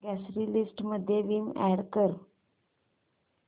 grocery list मध्ये Vim add कर